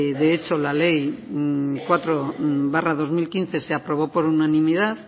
de hecho la ley cuatro barra dos mil quince se aprobó por unanimidad